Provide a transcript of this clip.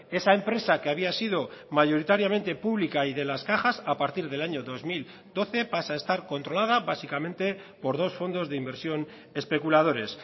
esa empresa que había sido mayoritariamente pública y de las cajas a partir del año dos mil doce pasa a estar controlada básicamente por dos fondos de inversión especuladores